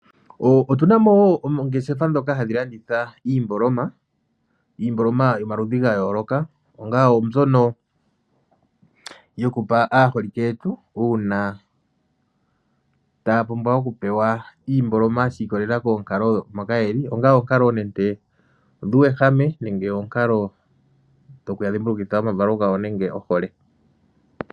Otunamo woo ongeeshefa dhoka hadhilanditha iimboloma, iimboloma yomaludhi gayooloka. Onga oombyono yokupa aaholike yetu, uuna taapumbwa okupewa iimboloma shi ikololela koonkalo moka yeli. Onga onkalo nande odhuuwehame, nenge onkalo dhoku ya dhimbulukitha omavalo gawo nenge ohole.